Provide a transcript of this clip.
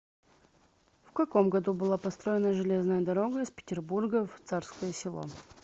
в каком году была построена железная дорога из петербурга в царское село